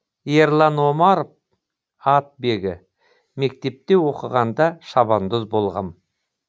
ерлан омаров атбегі мектепте оқығанда шабандоз болғам